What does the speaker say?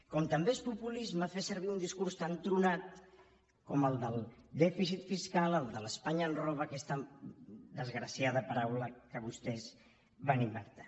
com també és populisme fer servir un discurs tan tronat com el del dèficit fiscal el de l’ espanya ens roba aquesta desgraciada paraula que vostès van inventar